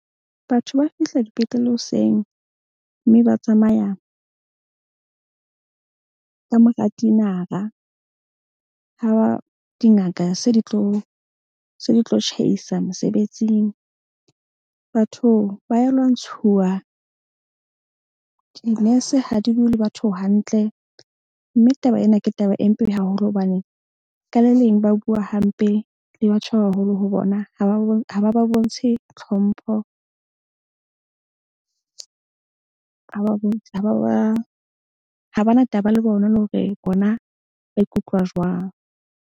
Batho ba fihla dipetlele hoseng mme ba tsamaya ka mora tinara. Ha dingaka se di tlo tjhaisa mosebetsing. Batho ba ya lwantshuwa. Dinese ha di bue le batho hantle mme taba ena ke taba e mpe haholo hobane ka le leng ba bua hampe le batho ba baholo ho bona. Ha ba ba bontshe tlhompho. Ha ba na taba le bona le hore bona ba ikutlwa jwang.